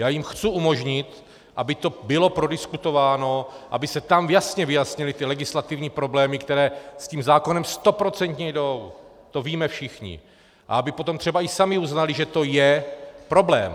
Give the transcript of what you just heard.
Já jim chci umožnit, aby to bylo prodiskutováno, aby se tam jasně vyjasnily ty legislativní problémy, které s tím zákonem stoprocentně jdou, to víme všichni, a aby potom třeba i sami uznali, že to je problém.